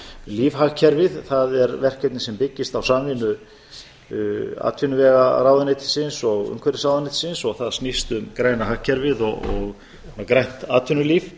lífhagkerfið það er verkefni sem byggist á samvinnu atvinnuvegaráðuneytisins og umhverfisráðuneytisins og það snýst um græna hagkerfið og grænt atvinnulíf